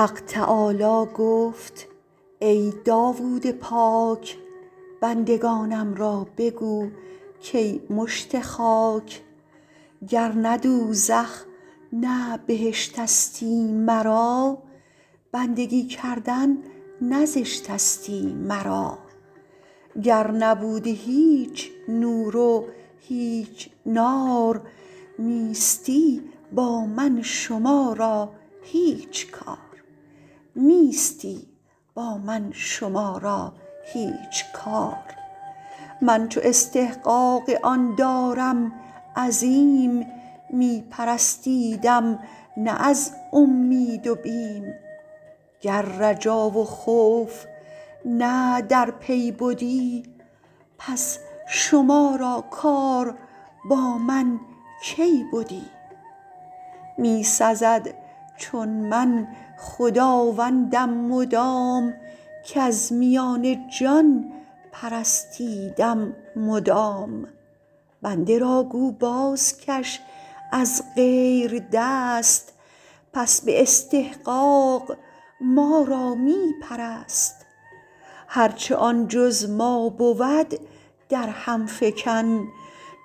حق تعالی گفت ای داود پاک بندگانم را بگو کای مشت خاک گرنه دوزخ نه بهشتستی مرا بندگی کردن نه زشتستی مرا گر نبودی هیچ نور و هیچ نار نیستی با من شما را هیچ کار من چو استحقاق آن دارم عظیم می پرستیدیم نه از اومید و بیم گر رجا و خوف نه در پی بدی پس شما را کار با من کی بدی می سزد چون من خداوندم مدام کز میان جان پرستیدم مدام بنده را گو بازکش از غیر دست پس به استحقاق ما را می پرست هرچ آن جز ما بود در هم فکن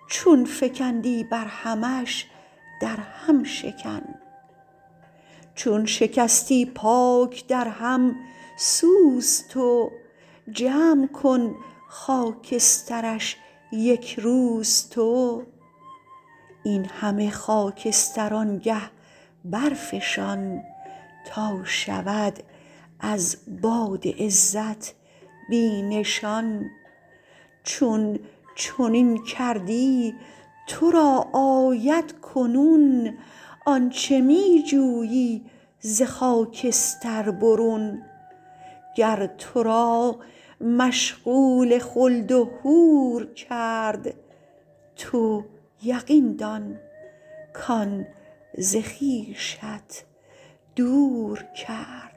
چون فکندی بر همش در هم شکن چون شکستی پاک در هم سوز تو جمع کن خاکسترش یک روز تو این همه خاکستر آنگه برفشان تا شود از باد عزت بی نشان چون چنین کردی ترا آید کنون آنچ می جویی ز خاکستر برون گر ترا مشغول خلد و حور کرد تو یقین دان کان ز خویشت دور کرد